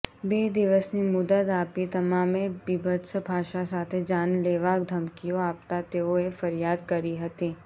બે દિવસની મુદદ આપી તમામે બીભત્સ ભાષા સાથે જાનલેવા ધમકીઓ આપતા તેઓએ ફરિયાદ કરી હતી